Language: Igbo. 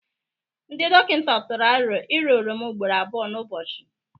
Ndị dọkịta tụrụ aro ira oroma ugboro abụọ n'ụbọchị.